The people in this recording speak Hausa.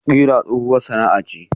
Kira tsohuwar sana'a ce.